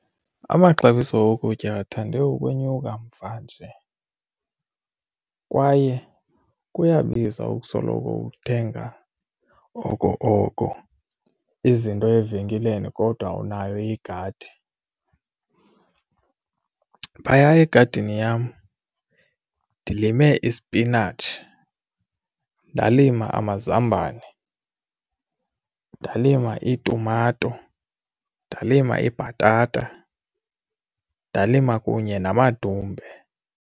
Amaxabiso okutya athande ukwenyuka mvanje kwaye kuyabiza ukusoloko uthenga oko oko izinto evenkileni kodwa unayo igadi. Phaya egadini yam ndilime isipinatshi, ndalima amazambane, ndalima itumato, ndalima ibhatata, ndalima kunye namadumbe.